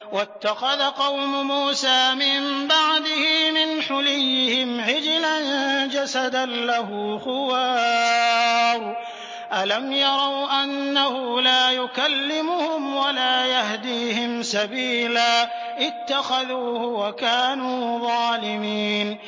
وَاتَّخَذَ قَوْمُ مُوسَىٰ مِن بَعْدِهِ مِنْ حُلِيِّهِمْ عِجْلًا جَسَدًا لَّهُ خُوَارٌ ۚ أَلَمْ يَرَوْا أَنَّهُ لَا يُكَلِّمُهُمْ وَلَا يَهْدِيهِمْ سَبِيلًا ۘ اتَّخَذُوهُ وَكَانُوا ظَالِمِينَ